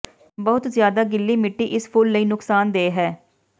ਬਹੁਤ ਜ਼ਿਆਦਾ ਗਿੱਲੀ ਮਿੱਟੀ ਇਸ ਫੁੱਲ ਲਈ ਨੁਕਸਾਨਦੇਹ ਹੈ